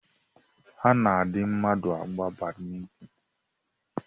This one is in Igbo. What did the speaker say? A na-adị mmadụ agba Badmịntịn